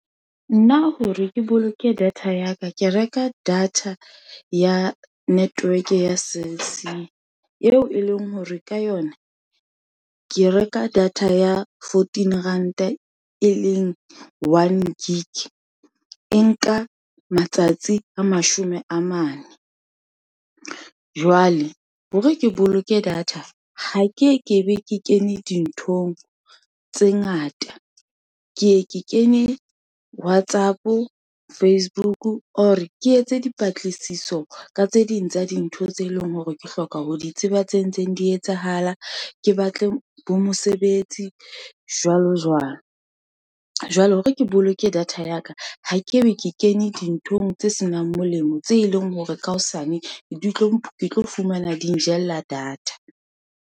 Nna hore ke boloke data ya ka, ke reka data ya network ya Cell C, eo e leng hore ka yona, ke reka data ya fourteen ranta, e leng one gig, e nka matsatsi a mashome a mane. Jwale hore ke boloke data, ha ke ye ke be ke kene dinthong tse ngata, ke ye ke kenye WhatsApp, Facebook or ke yetse dipatlisiso ka tse ding tsa dintho tse leng hore ke hloka ho di tseba tse ntseng di etsahala, ke batle bo mosebetsi jwalo, jwalo. Jwale hore ke boloke data ya ka, ha ke ye ke kene dinthong tse senang molemo, tse leng hore ka hosane ke tlo fumana di njella data.